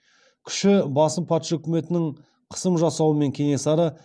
күші басым патша үкіметінің қысым жасауымен кенесары